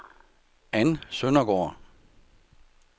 Ann Søndergaard